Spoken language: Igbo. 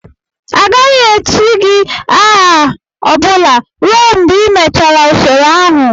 Agaghị echi gị aha ọ bụla ruo mgbe ịmechara usoro ahụ!